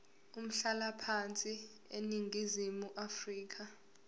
umhlalaphansi eningizimu afrika